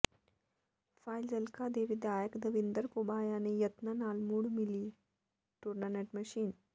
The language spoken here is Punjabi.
ਫਾਜਿ਼ਲਕਾ ਦੇ ਵਿਧਾਇਕ ਦਵਿੰਦਰ ਘੁਬਾਇਆ ਦੇ ਯਤਨਾਂ ਨਾਲ ਮੁੜ ਮਿਲੀ ਟ੍ਰੂਨੈਟ ਮਸ਼ੀਨ